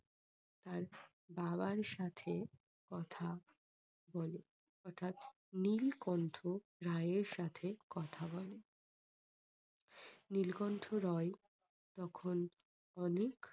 তার বাবার সাথে কথা বলে অর্থাৎ নীলকণ্ঠ রায় এর সাথে কথা বলে। নীলকন্ঠ রায় তখন অনেক